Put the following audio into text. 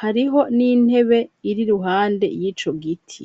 hariho n'intebe, iri iruhande y'ico giti.